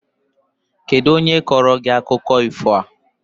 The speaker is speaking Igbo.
Kedụ onye kọọrọ gị akụkọ ifo a?